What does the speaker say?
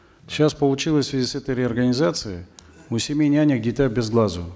сейчас получилось в связи с этой реорганизацией у семи нянек дитя без глазу